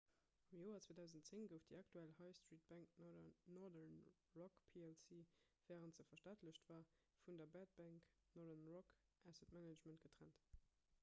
am joer 2010 gouf déi aktuell high-street-bank northern rock plc wärend se verstaatlecht war vun der 'bad bank' northern rock asset management getrennt